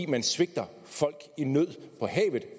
man svigter folk i nød på havet